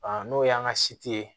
n'o y'an ka si tɛ ye